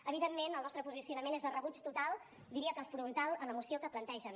evidentment el nostre posicionament és de rebuig total diria que frontal a la moció que plantegen